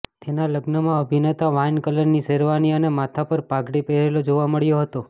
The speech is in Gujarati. તેના લગ્નમાં અભિનેતા વાઇન કલરની શેરવાની અને માથા પર પાઘડી પહેરેલો જોવા મળ્યો હતો